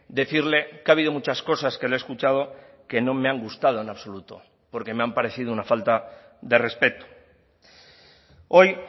decirle que ha habido muchas cosas que le he escuchado que no me han gustado en absoluto porque me han parecido una falta de respeto hoy